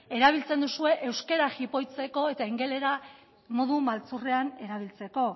erabiltzen duzue euskara jipoitzeko eta ingelesa modu maltzurrean erabiltzeko